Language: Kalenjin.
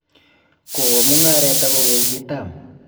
kowo mung'aret ako kokitam